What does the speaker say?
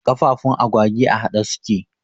Kafafun agwagi a haɗe suke